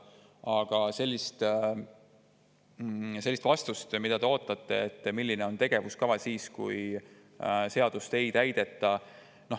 Aga te ootate vastust, milline on tegevuskava siis, kui seadust ei täideta.